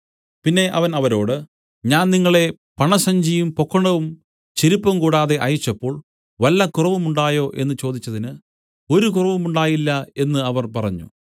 പിന്നെ അവൻ അവരോട് ഞാൻ നിങ്ങളെ പണസഞ്ചിയും പൊക്കണവും ചെരിപ്പും കൂടാതെ അയച്ചപ്പോൾ വല്ല കുറവുമുണ്ടായോ എന്നു ചോദിച്ചതിന് ഒരു കുറവുമുണ്ടായില്ല എന്നു അവർ പറഞ്ഞു